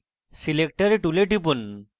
selector tool টিপুন